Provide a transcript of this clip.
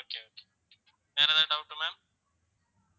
okay okay வேற ஏதாவது doubt ma'am